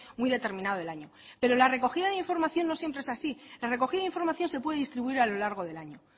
muy determinado del año pero la recogida de información no siempre es así la recogida de información se puede distribuir a lo largo del año